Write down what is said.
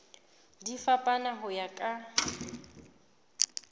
di fapana ho ya ka